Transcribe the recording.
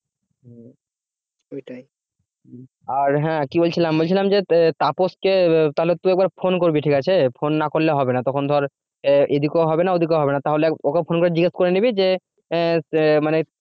আর হ্যাঁ কি বলছিলাম বলছিলাম যে তাপস কে তাহলে তুই একবার ফোন করবি ঠিক আছে ফোন না করলে হবে না তখন ধর এদিকেও হবে না ওদিকেও হবে না তাহলে ওকে ফোন করে জিজ্ঞেস করে নিবি যে আহ মানে